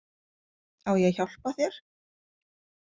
Á ég að hjálpa þér?